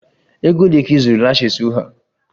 Ego ole ka ị zụrụ lashes ụgha?